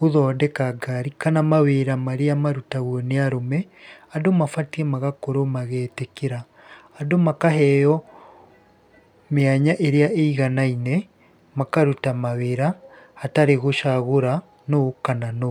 gũthondeka ngari kana mawĩra marĩa marutagwo nĩ arũme, andũ mabatiĩ magakorwo magĩĩtĩkĩra. Andũ makaheo mĩanya ĩrĩa ĩiganaine, makaruta mawĩra hatarĩ gũcagũra nũ kana nũ.